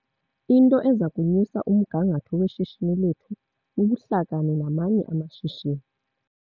Into eza kunyusa umgangatho weshishini lethu bubuhlakani namanye amashishini.